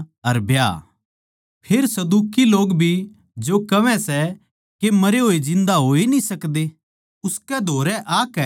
फेर सदूकी लोग भी जो कहवै सै के मरे होये जिन्दा होए न्ही सकदे उसकै धोरै आकै उसतै बुझ्झया